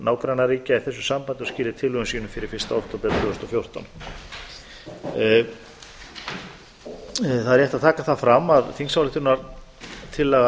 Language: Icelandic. nágrannaríkja í þessu sambandi og skili tillögum sínum fyrir fyrsta október tvö þúsund og fjórtán það er rétt að taka það fram að þingsályktunartillaga þessi